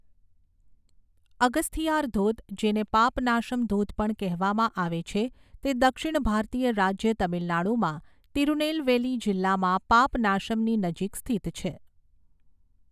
અગસ્થીયાર ધોધ, જેને પાપનાશમ ધોધ પણ કહેવામાં આવે છે, તે દક્ષિણ ભારતીય રાજ્ય તમિલનાડુમાં તિરુનેલવેલી જિલ્લામાં પાપનાશમની નજીક સ્થિત છે.